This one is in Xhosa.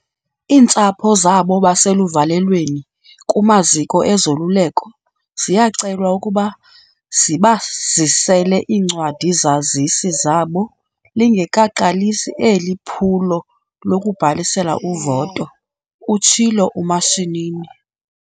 "Iintsapho zabo baseluvalelweni kumaziko ezoluleko ziyacelwa ukuba zibazisele iincwadi-zazisi zabo lingekaqalisi eli phulo lokubhalisela uvoto," utshilo uMashinini.